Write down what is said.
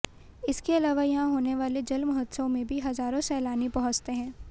इसके अलावा यहां होने वाले जल महोत्सव में भी हजारों सैलानी पहुंचते हैं